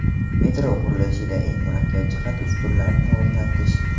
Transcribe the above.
Metro qurilishida eng murakkab jihat ustunlarni o‘rnatish.